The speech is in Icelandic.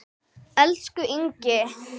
Elsku Ingi.